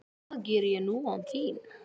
Hvað geri ég nú án þín?